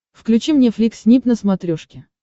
включи мне флик снип на смотрешке